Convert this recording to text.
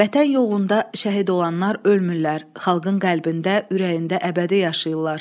Vətən yolunda şəhid olanlar ölmürlər, xalqın qəlbində, ürəyində əbədi yaşayırlar.